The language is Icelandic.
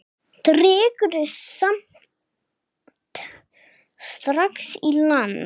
Dregur samt strax í land.